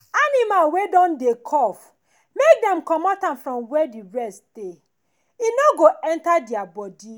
animal wey don dey cough make dem comot am from where the rest dey make e no go enter their body